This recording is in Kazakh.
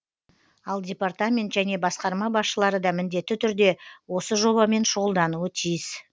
ал департамент және басқарма басшылары да міндетті түрде осы жобамен шұғылдануы тиіс